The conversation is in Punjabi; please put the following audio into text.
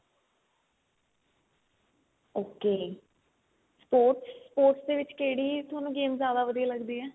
ok sports sports ਦੇ ਵਿੱਚ ਕਿਹੜੀ game ਤੁਹਾਨੂੰ ਜਿਆਦਾ ਵਧੀਆ ਲੱਗਦੀ ਏ